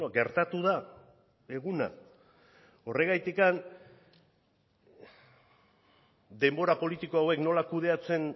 gertatu da eguna horregatik denbora politiko hauek nola kudeatzen